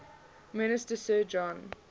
minister sir john